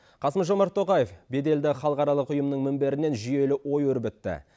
қасым жомарт тоқаев беделді халықаралық ұйымның мінберінен жүйелі ой өрбітті